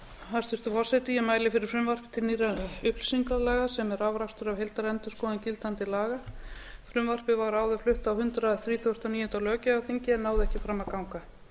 hæstvirtur forseti ég mæli fyrir frumvarpi til nýrra upplýsingalaga sem er afrakstur af heildarendurskoðun gildandi laga frumvarpið var áður flutt á hundrað þrítugasta og níunda löggjafarþingi en náði ekki fram að ganga